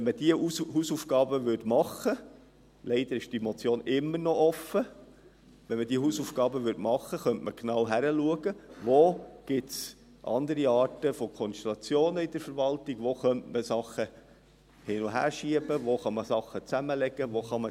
Wenn man diese Hausaufgaben erledigen würde – leider ist diese Motion immer noch offen –, könnte man genau hinschauen, wo es andere Konstellationen in der Verwaltung geben könnte, und wo man etwas verschieben oder zusammenlegen könnte.